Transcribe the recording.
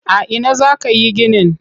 A ina za ka yi ginin?